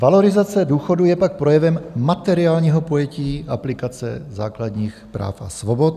Valorizace důchodů je pak projevem materiálního pojetí aplikace základních práv a svobod.